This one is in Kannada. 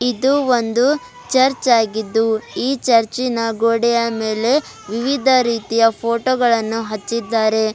ಇದು ಒಂದು ಚರ್ಚ್ ಆಗಿದ್ದು ಈ ಚರ್ಚಿ ನ ಗೋಡೆಯ ಮೇಲೆ ವಿವಿಧ ರೀತಿಯ ಫೋಟೋ ಗಳನ್ನು ಹಚ್ಚಿದ್ದಾರೆ.